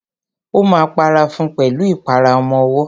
Ó ma para fún pẹ̀lú ìpara ọmọwọ́.